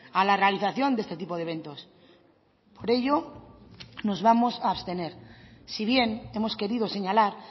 a la realización de este tipo de eventos por ello nos vamos a abstener si bien hemos querido señalar